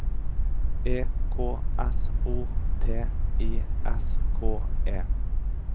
E K S O T I S K E